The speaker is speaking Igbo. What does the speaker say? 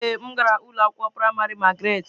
Ee, m gara ụlọ akwụkwọ praịmarị Magaratị.